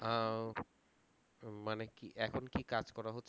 আহ মানে কি এখন কি কাজ করো